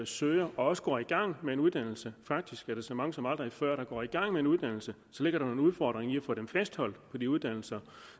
søger og også går i gang med en uddannelse faktisk er det så mange som aldrig før der går i gang med en uddannelse så ligger der en udfordring i at få dem fastholdt på de uddannelser